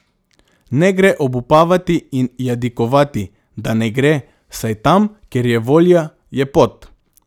Ne gre obupavati in jadikovati, da ne gre, saj tam, kjer je volja, je pot.